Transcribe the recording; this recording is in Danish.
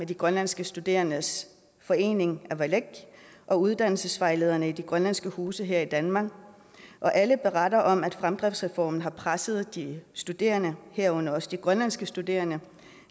de grønlandske studerendes forening avalak og uddannelsesvejlederne i de grønlandske huse her i danmark alle beretter om at fremdriftsreformen har presset de studerende herunder også de grønlandske studerende